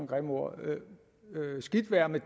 grimme ord skidt være med